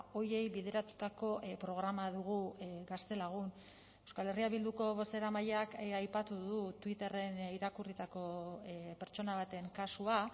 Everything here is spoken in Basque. horiei bideratutako programa dugu gaztelagun euskal herria bilduko bozeramaileak aipatu du twitterren irakurritako pertsona baten kasua